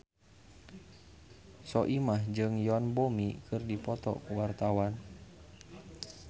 Soimah jeung Yoon Bomi keur dipoto ku wartawan